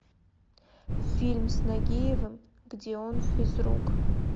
фильм с нагиевым где он физрук